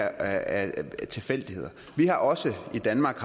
af tilfældigheder vi har også i danmark